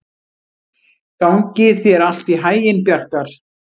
Gangi þér allt í haginn, Bjarkar.